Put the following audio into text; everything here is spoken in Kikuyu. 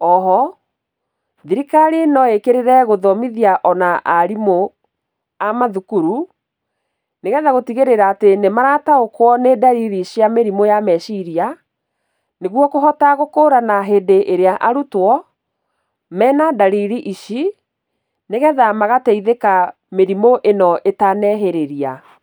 Oho, thirikari noĩkĩrĩre gũthomithia ona arimũ a mathukuru, nĩgetha gũtigĩrĩra atĩ nĩmarataũkwo nĩ ndariri cia mĩrimũ ya meciria, nĩguo kũhota gũkũrana hĩndĩ ĩrĩa arutwo mena ndariri ici, nĩgetha magataithĩka mĩrimũ ĩno ĩtanehĩrĩria.